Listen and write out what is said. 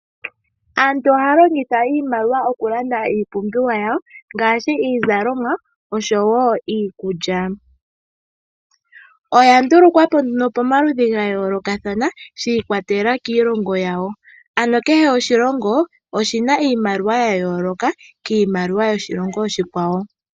Aantu ohaya longitha iimaliwa okulanda iipumbiwa yawo ngaashi iizalomwa nosho woo iikulya, oya ndulukwa po nduno pamalidhi ga yoolokathana shi ikwatelela kiilongo yawo ano kehe oshilongo oshina iimalowa ya yooloka kiimaliwa yoshilongo oshikwawo.